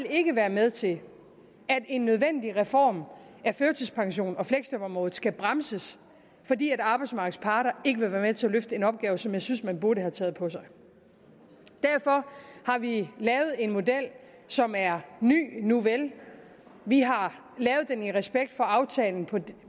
ikke være med til at en nødvendig reform af førtidspensionen og fleksjobområdet skal bremses fordi arbejdsmarkedets parter ikke vil være med til at løfte den opgave som jeg synes man burde have taget på sig derfor har vi lavet en model som er ny nuvel vi har lavet den i respekt for aftalen